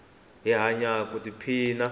hi hanya ku i phina